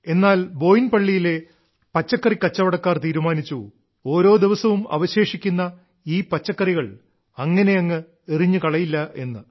എന്നാൽ ബോയിൻപള്ളിയിലെ പച്ചക്കറി കച്ചവടക്കാർ തീരുമാനിച്ചു ഓരോ ദിവസവും അവശേഷിക്കുന്ന ഈ പച്ചക്കറികളെ അങ്ങനെയങ്ങ് എറിഞ്ഞുകളയില്ലെന്ന്